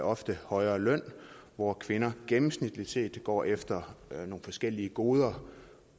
ofte højere løn hvor kvinder gennemsnitligt set går efter nogle forskellige goder